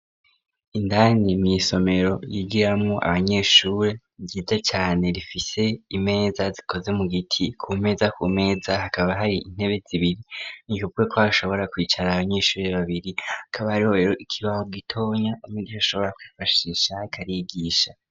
Indani mw'isomero yigiramwo abanyeshuri ryiza cane rifise imeza zikoze mu giti ku meza ku meza hakaba hari intebe zibiri ni kubwoko hashobora kwicara abanyeshuri babiri hakaba hariho rero ikibaho gitoya umwigisha ashobora kwifashisha ariko arigisha.